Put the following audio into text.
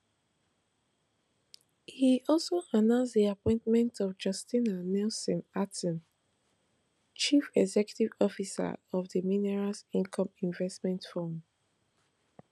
e also announce di appointment of justina nelson acting chief executive officer of di minerals income investment fund